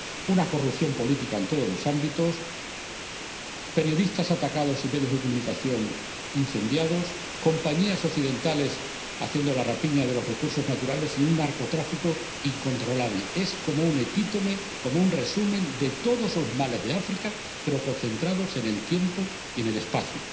una corrupción política en todos los ámbitos periodistas atacados y medios de comunicación incendiados compañías occidentales haciendo la rapiña de los recursos naturales y un narcotráfico incontrolable. Es como un epítome, como un resumen de todos los males de África, pero concentrados en el tiempo y en el espacio.